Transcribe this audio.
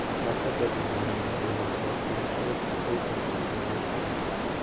Wasebedo joneno e winjruok mantie e kind Ethiopia gi Eritrea,